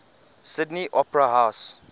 sydney opera house